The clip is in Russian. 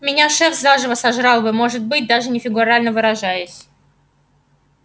меня шеф заживо сожрал бы может быть даже не фигурально выражаясь